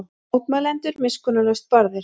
Mótmælendur miskunnarlaust barðir